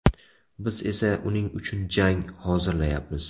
Biz esa uning uchun jang hozirlayapmiz.